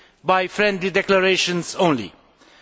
by friendly declarations alone.